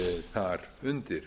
þar undir